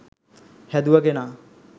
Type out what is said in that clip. හැදුව කෙනා.